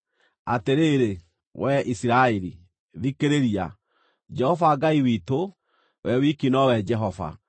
Atĩrĩrĩ, wee Isiraeli, thikĩrĩria: Jehova Ngai witũ, we wiki nowe Jehova.